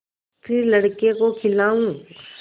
फिर लड़के को खेलाऊँ